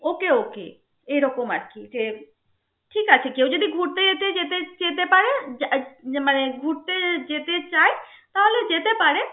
Okay okay এরকম আর কি. যে ঠিক আছে কেউ যদি ঘুরতে যেত~যেতে পারে মানে ঘুরতে যেতে চায় তাহলে যেতে পারে.